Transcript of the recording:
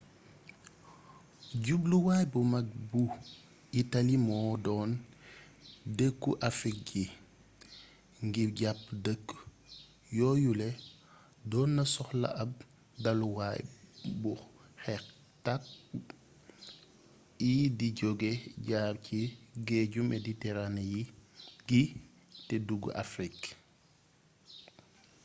jubluwaay bu mag bu itali moo doon dëkku afrig yi ngir jàpp dëkk yooyule doon na soxla ab dalluwaay bu xeexkat y di jóge jaar ci géeju meditérane gi te dugg afrig